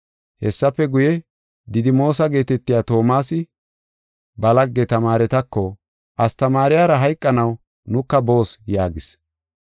Hessafe guye, Didimoosa geetetiya Toomasi ba lagge tamaaretako, “Astamaariyara hayqanaw nuka boos” yaagis.